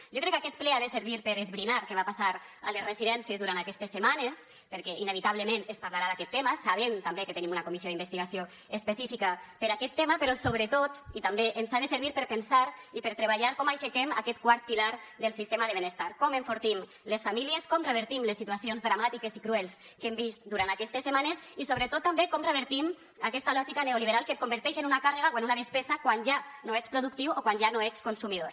jo crec que aquest ple ha de servir per esbrinar què va passar a les residències durant aquestes setmanes perquè inevitablement es parlarà d’aquest tema sabem també que tenim una comissió d’investigació específica per a aquest tema però sobretot i també ens ha de servir per pensar i per treballar com aixequem aquest quart pilar del sistema de benestar com enfortim les famílies com revertim les situacions dramàtiques i cruels que hem vist durant aquestes setmanes i sobretot també com revertim aquesta lògica neoliberal que et converteix en una càrrega o una despesa quan ja no ets productiu o quan ja no ets consumidor